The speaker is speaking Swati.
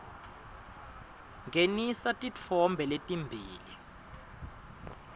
ngenisa titfombe letimbili